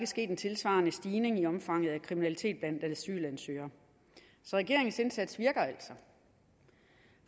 sket en tilsvarende stigning i omfanget af kriminalitet blandt asylansøgere så regeringens indsats virker altså